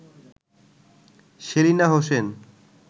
Selina Hossain